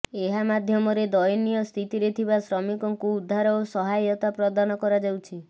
ଏହା ମଧ୍ୟମରେ ଦୟନୀୟ ସ୍ଥିତିରେ ଥିବା ଶ୍ରମିକଙ୍କୁ ଉଦ୍ଧାର ଓ ସହାୟତା ପ୍ରଦାନ କରାଯାଉଛି